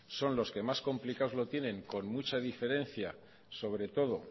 son los que más complicado lo tienen con mucha diferencia sobre todo